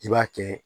I b'a kɛ